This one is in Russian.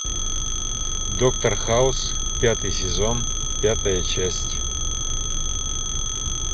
доктор хаус пятый сезон пятая часть